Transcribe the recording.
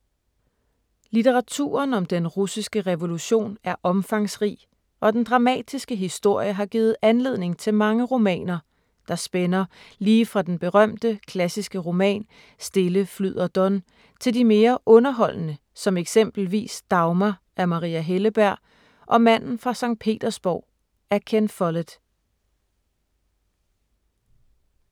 Litteraturen om den russiske revolution er omfangsrig, og den dramatiske historie har givet anledning til mange romaner, der spænder lige fra den berømte, klassiske roman Stille flyder Don til de mere underholdende som eksempelvis Dagmar af Maria Helleberg og Manden fra Skt. Petersborg af Ken Follett.